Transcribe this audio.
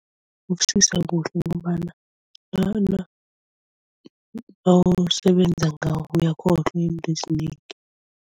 Ukusiza kuhle ngombana nawusebenza ngawo uyakhohlwa into ezinengi.